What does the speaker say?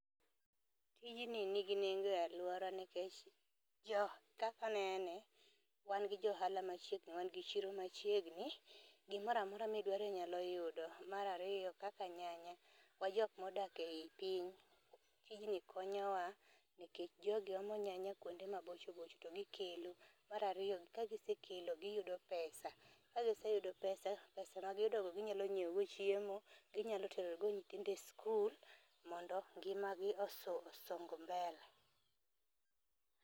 Tijni nigi nengo e aluora nikech jo kaka nene, wan gi jo ohala machiegni wan gi chiro machiegni gimoramora midwaro inyalo yudo. Mar ariyo, kaka nyanya wa jok modak ei piny tijni konyowa nikech jogi omo nyanya kuonde mabochobocho to gikelo. Mar ariyo kagisekelo to giyudo pesa ka giseyudo pesa pesa ma giyudo go ginyalo nyiewo godo chiemo, ginyalo tero go nyithindo e sikul mondo ngimagi oso osong mbele.